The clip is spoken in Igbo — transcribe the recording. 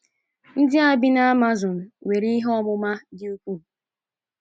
Ndị a bi na Amazon nwere ihe ọmụma dị ukwuu.